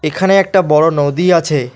এখানে একটা বড় নদী আছে।